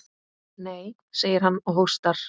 Nei, segir hann og hóstar.